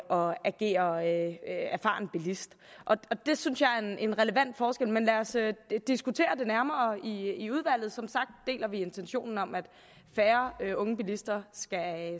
og agere erfaren bilist det synes jeg er en relevant forskel men lad os diskutere det nærmere i udvalget som sagt deler vi intentionen om at færre unge bilister